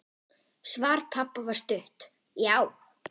Svar pabba var stutt: Já!